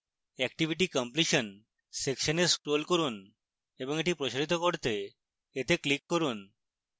activity completion section এ scroll করুন এবং এটি প্রসারিত করতে এতে click করুন